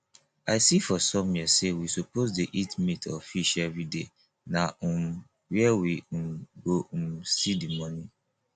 i see for somewhere sey we suppose dey eat meat or fish everyday na um where we um go um see the money